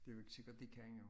Det jo ikke sikkert de kan jo